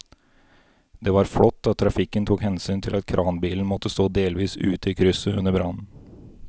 Det var flott at trafikken tok hensyn til at kranbilen måtte stå delvis ute i krysset under brannen.